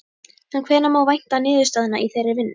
En hvenær má vænta niðurstaðna í þeirri vinnu?